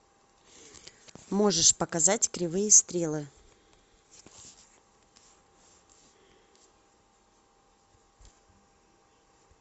можешь показать кривые стрелы